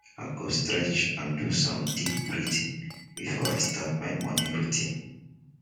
i go stretch and do some deep breathing before i start my morning routine.